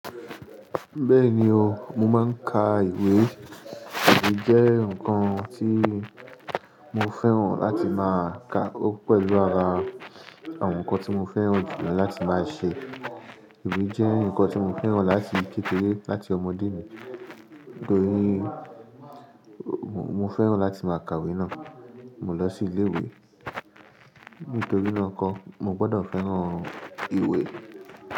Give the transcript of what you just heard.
Bẹ́ẹ̀ni o, mo máa ń ka ìwé. Ìwé jẹ́ nǹkan tí mo fẹ́ràn láti máa ka. Ó pẹ̀lú ara àwọn nǹkan tí mo fẹ́ràn jùlọ láti máa ṣe. Ìwé jẹ́ nǹkan tí mo fẹ́ràn láti kékeré láti ọmọdé mi. Nítorí mo fẹ́ràn láti máa ka ìwé náà. Mo lọ sí ilé ìwé. Nítorí náà kọ́, mo gbọ́dọ̀ fẹ́ràn ìwé.